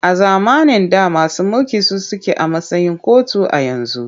A zamanin da masu mulki su suke a matsayin kotu a yanzu.